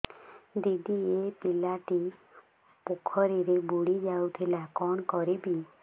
ଦିଦି ଏ ପିଲାଟି ପୋଖରୀରେ ବୁଡ଼ି ଯାଉଥିଲା କଣ କରିବି